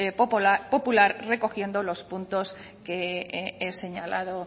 popular recogiendo los puntos que he señalado